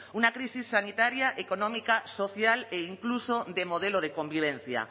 una crisis sanitaria económica social e incluso de modelo de convivencia